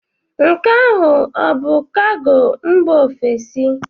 Nke ahụ ọ bụ kago mba ofesi?